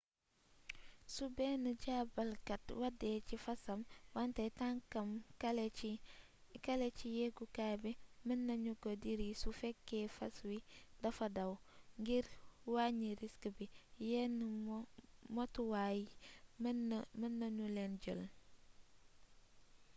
su benn jaabalkat wàddee ci fasam wante tànkam kale a ci yeegukaay bi mën nanu ko diri su fekkee fas wi dafa daw ngir wàññi risk bi yenn motuwaay mën nanu leen jël